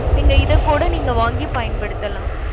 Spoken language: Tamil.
நீங்க இதை கூட நீங்க வாங்கி பயன்படுத்தலாம்.